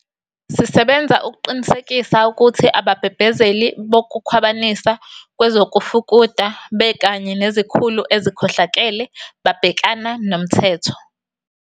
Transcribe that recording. Sisebenza ukuqinisekisa ukuthi ababhebhezeli bokukhwabanisa kwezokufuduka bekanye nezikhulu ezikhohlakele babhekana nomthetho.